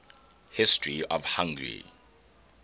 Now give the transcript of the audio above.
history of hungary